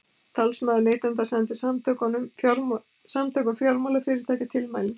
Talsmaður neytenda sendi Samtökum fjármálafyrirtækja tilmælin